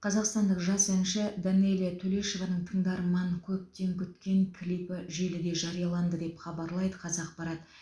қазақстандық жас әнші данэлия төлешованың тыңдарман көптен күткен клипі желіде жарияланды деп хабарлайды қазақпарат